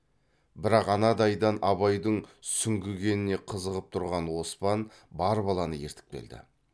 бірақ анадайдан абайдың сүңгігеніне қызығып тұрған оспан бар баланы ертіп келді